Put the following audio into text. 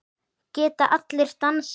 Geta allir dansað?